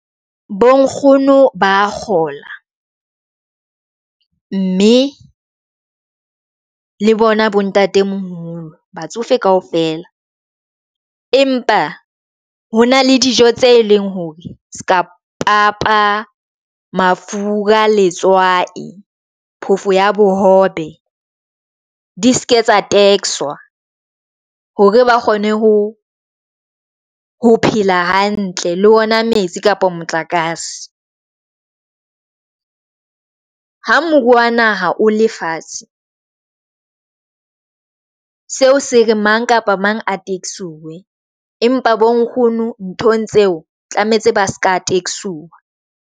Bo nkgono ba kgola mme le bona bontatemoholo batsofe kaofela. Empa ho na le dijo tse leng hore seka bo papa mafura, letswai phofo ya bohobe, di seke tsa tax-swa hore ba kgone ho phela hantle, le ona metsi kapa motlakase ha moruo wa naha o le fatshe. Seo se re mang kapa mang a taxi-suwe, empa bo nkgono nthong tseo tlametse ba seka tax-siwa.